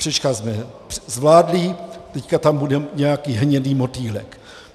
Křečka jsme zvládli, teď tam bude nějaký hnědý motýlek.